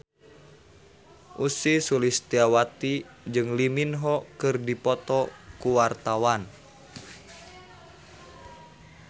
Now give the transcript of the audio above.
Ussy Sulistyawati jeung Lee Min Ho keur dipoto ku wartawan